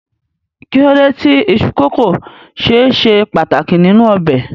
Kí ló dé tí iṣu kókò ṣe ṣe pàtàkì nínú ọbẹ̀?